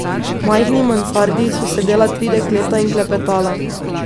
V majhni mansardi so sedela tri dekleta in klepetala.